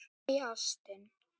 Nei, ástin.